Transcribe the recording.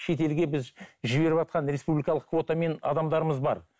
шетелге біз жібіріватқан республикалық квотамен адамдарымыз бар